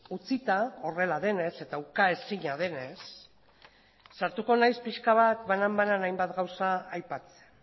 utzita horrela denez eta uka ezina denez sartuko naiz pixka bat banan bana hainbat gauza aipatzen